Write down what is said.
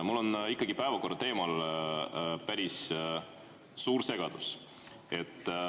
Mul on ikkagi päevakorra teemal päris suur segadus.